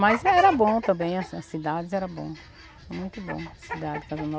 Mas era bom também, assim, as cidades eram boas, muito boas as cidades de Casa Nova.